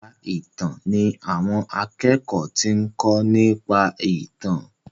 èka ìtàn ní àwọn akékòó tí nko nípa ìtàn.